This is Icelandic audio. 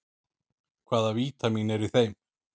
Hvaða vítamín eru í þeim?